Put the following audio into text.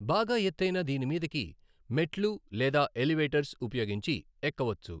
బాగా ఎతైన దీని మీదకి మెట్లు లేదా ఎవిలేటర్స్ ఉపయోగించి ఎక్కవచ్చు.